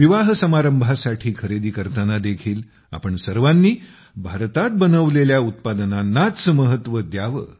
विवाहसमारंभासाठी खरेदी करताना देखील आपण सर्वांनी भारतात बनवलेल्या उत्पादनांनाच महत्त्व द्यावे